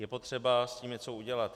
Je potřeba s tím něco udělat.